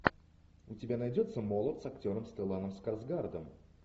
у тебя найдется молот с актером стелланом скарсгардом